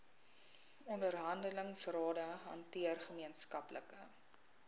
onderhandelingsrade hanteer gemeenskaplike